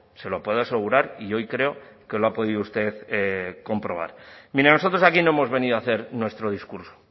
se lo puedo asegurar y hoy creo que lo ha podido usted comprobar mire nosotros aquí no hemos venido a hacer nuestro discurso